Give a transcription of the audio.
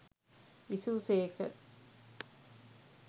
විසූ සේක.